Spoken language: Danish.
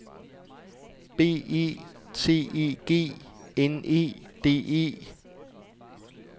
B E T E G N E D E